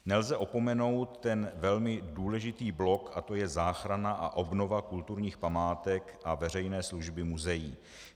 Nelze opomenout ten velmi důležitý blok, a to je záchrana a obnova kulturních památek a veřejné služby muzeí.